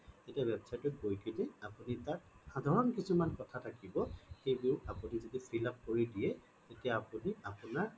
তেতিয়া website টোত গৈ কেনে আপুনি তাত সাধাৰণ কিছুমান কথা থাকিব সেইবোৰ আপুনি যদি fill up কৰি দিয়ে তেতিয়া আপুনি আপোনাৰ